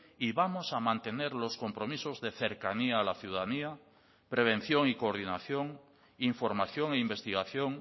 y vamos a mantener los compromisos de cercanía a la ciudadanía prevención y coordinación información e investigación